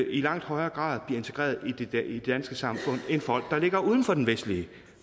i langt højere grad bliver integreret i det danske samfund end folk der ligger uden for den vestlige